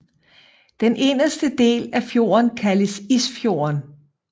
Den inderste del af fjorden kaldes Isfjorden